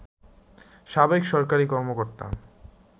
সাবেক সরকারি কর্মকর্তা